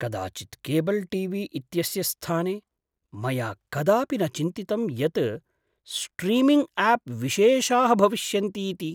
कदाचित् cable T V इत्यस्य स्थाने मया कदापि न चिन्तितम् यत् स्ट्रीमिङ्ग् आप् विशेषाः भविष्यन्तीति।